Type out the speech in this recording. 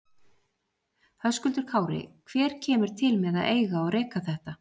Höskuldur Kári: Hver kemur til með að eiga og reka þetta?